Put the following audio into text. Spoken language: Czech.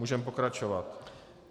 Můžeme pokračovat.